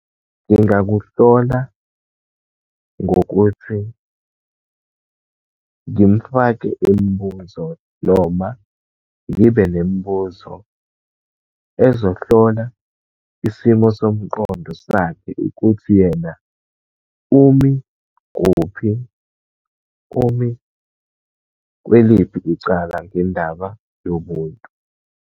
Kungakuhlola ngokuthi ngimfake imibuzo, noma ngibe nemibuzo ezohlola isimo somqondo sakhe, ukuthi yena umi kuphi, umi kweliphi icala ngendaba yobuntu.